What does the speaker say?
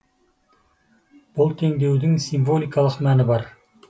бұл теңдеудің символикалық мәні бар